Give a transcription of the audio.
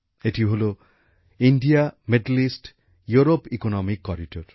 এটি হলো ভারত মধ্যপ্রাচ্যইউরোপ অর্থনৈতিক করিডোর